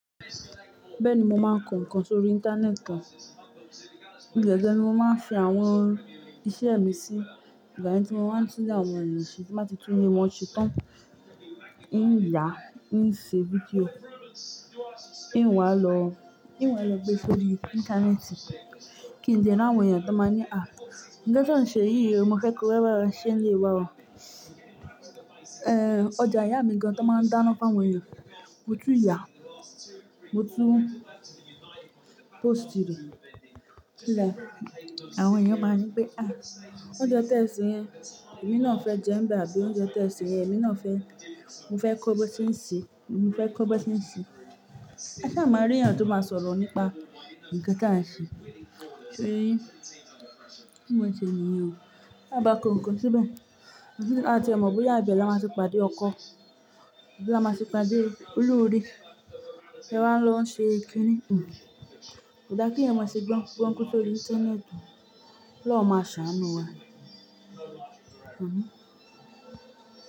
Bẹ́ẹ̀ni mo máa ń kọ ǹkan sórí Íńtánẹ́ẹ̀tì kan. Ibẹ̀ gẹn ni mo máa ń fi àwọn iṣẹ́ mi sí ìgbà yẹn tí mo má ń tún ni àwọn ènìyàn ṣe tí mbá ti tún ilé wọn ṣe tán. Hiń yà, hiń ṣe fídíò, hiń wá lọ, hiń wá lọ gbé sórí Íńtánẹ́ẹ̀tì. Kí ǹlẹ́ ri awọ́n èèyàn tó máa ní, "à iṣẹ́ to n ṣe yìí mo fẹ́ kó rẹ́wà rẹ ṣe lè wà ó." Ẹ̀ ọjà ìyá mi gan tó máa ń dáná fáwọ́n, mo tún yà, mo tún pósìtì rí. Lẹ́ àwọn èèyàn máa ń ní pé, "à oúnjẹ tó ń ṣe yẹn èmi náà fẹ́ jẹ ń bá bí oúnjẹ tẹ́ẹ ṣe yẹn èmi náà fẹ́, mo fẹ́ kọ́ bó tí ń ṣe, mo fẹ́ kọ́ bó tí ń ṣe." Aṣá máa rí èèyàn tó máa sọ̀rọ̀ nípa ǹkan tí à ń ṣe. Ṣó yé yìn? Kí monn ṣe nìyèn ó. Bá kọ nkan síbẹ̀, à tiẹ̀ mọ̀ bóyá ibẹ̀ẹ́ là máa ti padé ọkọ, àbí là máa ti padà olóore. Ẹ wá ń lọ ń ṣe ìkíni. Kò dá kí èèyàn máa ṣe gbọ́ńkú gbọ́ńkú sórí Íńtánẹ́ẹ̀tì. Ọlọ́run máa ṣàánú wa. Àmín.